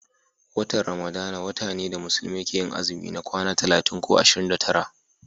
watan ramadana wata ne da musulmai ke yin azumi ma kwana talatin ko ashirin da tara